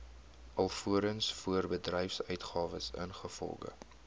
alvorens voorbedryfsuitgawes ingevolge